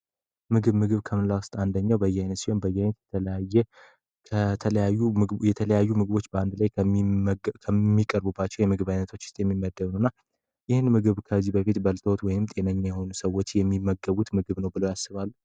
ምግብ ምግብ ከምንለው ውስጥ አንደኛው በያይነት ሲሆን በእያይነት የተለያዩ ምግቦች አንድ ላይ ከሚቀርቡባቸው የምግብ አይነት ውስጥ የሚመደብ ነው። ይህን ምግብ ከዚህ በፊት በልተውት ወይም ጤነኛ የሆኑ ሰዎች የሚመገቡት ምግብ ነው ብለው ያስባሉ?